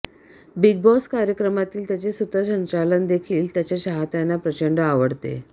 big Boss कार्यक्रमातील त्याचे सूत्रसंचालन देखील त्याच्या चाहत्यांना प्रचंड आवडते